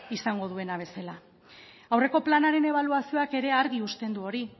izango duela bezala aurreko planaren ebaluazioak ere argi uzten du hori